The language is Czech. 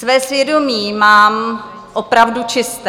Své svědomí mám opravdu čisté.